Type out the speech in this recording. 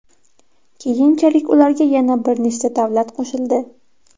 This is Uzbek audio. Keyinchalik ularga yana bir nechta davlat qo‘shildi.